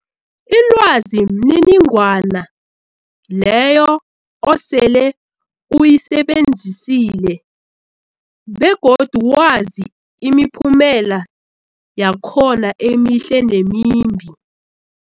Ilwazi mniningwana leyo osele uyisebenzisile begodu wazi imiphumela yakhona emihle nemimbi.